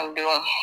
A don